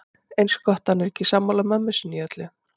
Eins gott að hann er ekki sammála mömmu sinni í öllu.